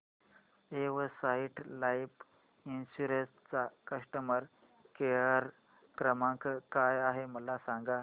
Exide Life insurance चा customer care क्रमांक काय आहे मला सांगा